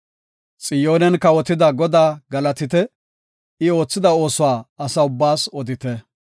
Xiyoonen kawotida Godaa galatite; I oothida oosuwa asa ubbaas odite.